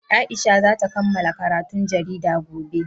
Aisha za ta kammala karatun jarida gobe.